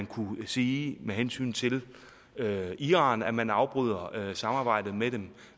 kunne sige med hensyn til iran at man afbryder samarbejdet med dem